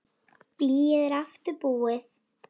Blýið er aftur búið.